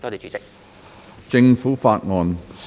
政府法案：首讀。